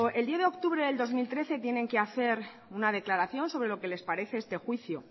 el diez de octubre del dos mil trece tienen que hacer una declaración sobre lo que les parece este juicio